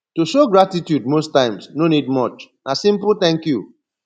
to show gratitude most times no need much na simple thank you